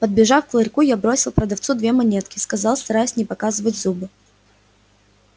подбежав к ларьку я бросил продавцу две монетки сказал стараясь не показывать зубы